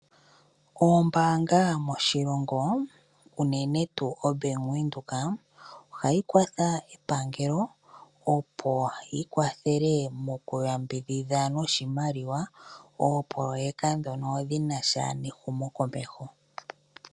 Oombaanga moshilongo uunene tuu oBank Windhoek, ohayi kwatha epangelo opo yikwathele mokuyambidhidha noshimaliwa oopoloweka ndhono dhinasha nehumokomeho.